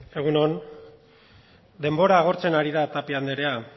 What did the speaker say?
egun on denbora agortzen ari da tapia andrea